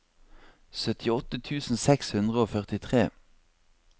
syttiåtte tusen seks hundre og førtitre